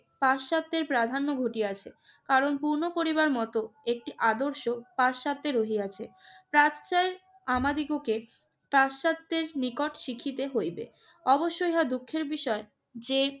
পাশ্চাত্যের প্রাধান্য ঘটিয়াছে। কারণ পূর্ণ পরিবার মত একটি আদর্শ পাশ্চাত্যে রহিয়াছে। প্রাচ্যের আমাদিগকে পাশ্চাত্যের নিকট শিখিতে হইবে। অবশ্য ইহা দুঃখের বিষয় যে,